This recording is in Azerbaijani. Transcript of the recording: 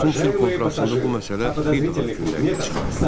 Batum Sülh Konfransında bu məsələ bir daha gündəliyə çıxarıldı.